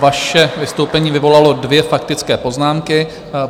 Vaše vystoupení vyvolalo dvě faktické poznámky.